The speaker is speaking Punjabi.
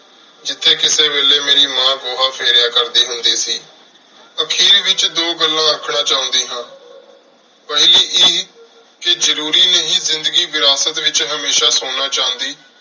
ਜਿਥੇ ਕੀਤੀ ਵੇਲੀ ਮੇਰੀ ਮਾਂ ਗੋਹਾ ਫੇਰਯ ਕਰਦੀ ਹੁੰਦੀ ਸੀ ਅਖੀਰ ਵਿਚ ਦੋ ਗੱਲਾਂ ਰਖਣਾ ਚੌਂਦੀ ਹਾਂ ਪਹਲੀ ਇਹ ਕਹ ਜਾਰੋਰੀ ਨਹੀ ਜ਼ਿੰਦਗੀ ਵਿਰਾਸਤ ਵਿਚ ਹਮੇਸ਼ਾ ਸੋਨਾ ਚੰਡੀ